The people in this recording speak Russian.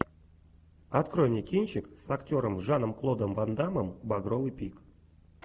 открой мне кинчик с актером жаном клодом ван даммом багровый пик